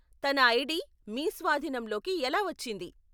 తన ఐడి మీ స్వాధీనంలోకి ఎలా వచ్చింది?